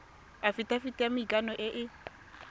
afitafiti ya maikano e e